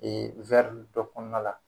Ee wɛri dɔ kɔnɔna la